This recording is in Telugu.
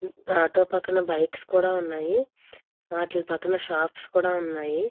ఆటో పక్కన బైక్స్ కూడా ఉన్నాయి. వాటి పక్కన షాప్స్ కూడా ఉన్నాయి.